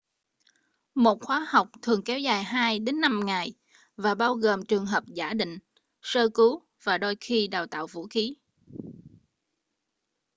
một khóa học thường kéo dài từ 2-5 ngày và bao gồm trường hợp giả định sơ cứu và đôi khi đào tạo vũ khí